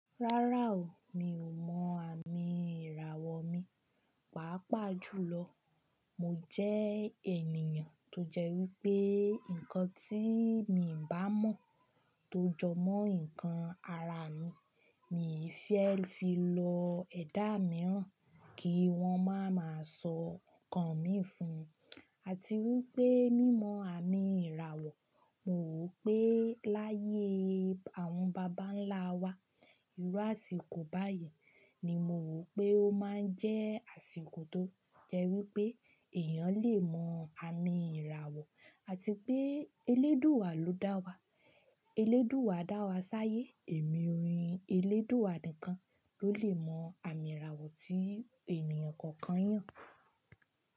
Rárá o, mi ò mọ àmì ìràwọ̀ mi, pàápàá jùlọ, mo jẹ ènìyàn tó jẹ́ wípé nǹkan tí mi ń bá mọ̀ tó jọ mọ́ ǹkan ara mi, mi fẹ́ fi lọ ẹ̀dá mìíràn kí wón máa ma sọ ǹkan mi fún, àti wípé mímọ àmì ìràwọ̀ mo rò pé láyé àwọn bàbá ńlá wa, ìrú àsìkò báyìí ni mo rò pé ó máa ń jẹ́ àsìkò tó jẹ́ wípé èèyàn lè mọ àmì ìràwọ̀ àti pé elédùwà ló dá wa, elédùwà dá wa sáyé èmi orin elédùwà nìkan ló lè mọ àmì ìràwọ̀ tí èèyàn kankan yàn.